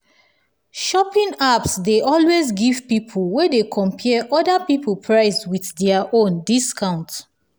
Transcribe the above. shopping apps dey always give people wey dey compare other people price with dia own discount